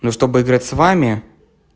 ну чтобы играть с вами